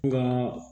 Nka